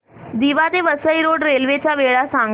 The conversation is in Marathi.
दिवा ते वसई रोड रेल्वे च्या वेळा सांगा